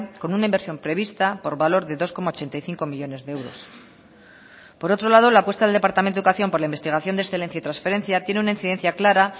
con una inversión prevista por valor de dos coma ochenta y cinco millónes de euros por otro lado la apuesta del departamento de educación por la investigación de excelencia y transferencia tiene una incidencia clara